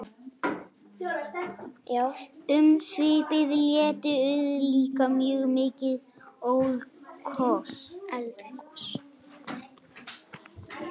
Um svipað leyti urðu líka mjög mikil eldgos.